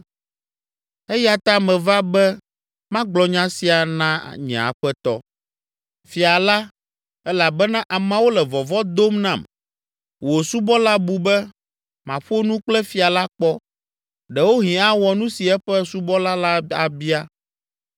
“Eya ta meva be magblɔ nya sia na nye aƒetɔ, fia la elabena ameawo le vɔvɔ̃ dom nam. Wò subɔla bu be, ‘Maƒo nu kple fia la kpɔ; ɖewohĩ awɔ nu si eƒe subɔla la abia.